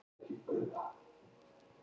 Þar með